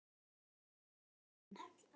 Hún dýrkaði hann.